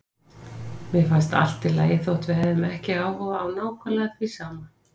Mér fannst allt í lagi þótt við hefðum ekki áhuga á nákvæmlega því sama.